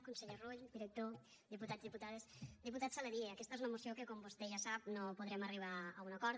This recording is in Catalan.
conseller rull director diputats diputades diputat saladié aquesta és una moció en què com vostè ja sap no podrem arribar a un acord